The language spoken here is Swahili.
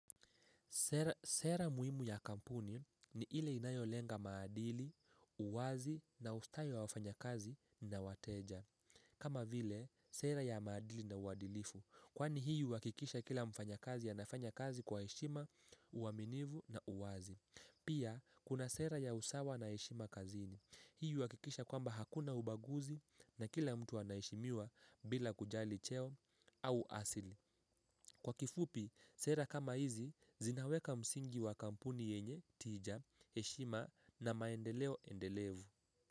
Sera muhimu ya kampuni ni ile inayolenga maadili, uwazi na ustayo wa wafanya kazi na wateja. Kama vile, sera ya maadili na uwadilifu. Kwani hiyo huakikisha kila mfanyakazi anafanya kazi kwa heshima, uaminivu na uwazi. Pia, kuna sera ya usawa na heshima kazini. Hiyo huakikisha kwamba hakuna ubaguzi na kila mtu anaishimiwa bila kujali cheo au asili. Kwa kifupi, sera kama hizi zinaweka msingi wa kampuni yenye, tija, heshima na maendeleo endelevu.